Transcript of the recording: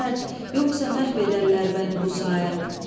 Yoxsa məhv edərlər məni bu saat.